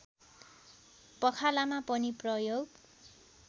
पखालामा पनि प्रयोग